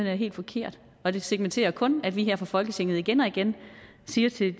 er helt forkert og det segmenterer jo kun at vi her fra folketinget igen og igen siger til